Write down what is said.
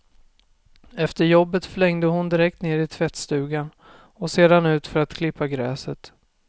Efter jobbet flängde hon direkt ner i tvättstugan, och sedan ut för att klippa gräset.